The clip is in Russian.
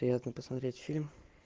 приятно посмотреть фильм